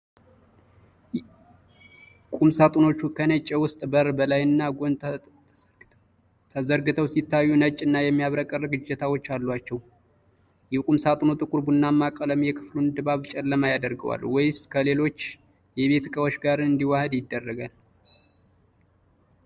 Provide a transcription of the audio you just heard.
ቁም ሣጥኖቹ ከነጭ የውስጥ በር በላይና ጎን ተዘርግተው ሲታዩ፣ ነጭና የሚያብረቀርቅ እጀታዎች አሏቸው። የቁም ሣጥኑ ጥቁር ቡናማ ቀለም የክፍሉን ድባብ ጨለማ ያደርገዋል ወይስ ከሌሎች የቤት ዕቃዎች ጋር እንዲዋሃድ ይረዳል?